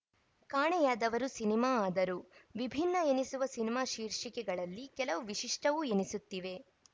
ಕಾಣೆಯಾದವರು cinema ಆದರು ವಿಭಿನ್ನ ಎನಿಸುವ ಸಿನಿಮಾ ಶೀರ್ಷಿಕೆಗಳಲ್ಲಿ ಕೆಲವು ವಿಶಿಷ್ಟವೂ ಎನಿಸುತ್ತಿವೆ